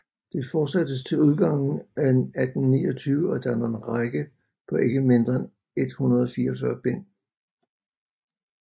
Det fortsattes til udgangen af 1829 og danner en række på ikke mindre end 144 bind